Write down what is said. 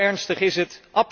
Zo ernstig is het.